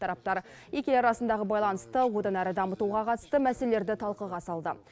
тараптар екі ел арасындағы байланысты одан әрі дамытуға қатысты мәселелерді талқыға салды